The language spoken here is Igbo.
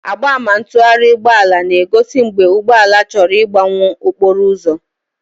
Mgbama ntụgharị ụgbọ ala na-egozi mgbe ụgbọ ala chọrọ ịgbanwuo n'okporo ụzọ.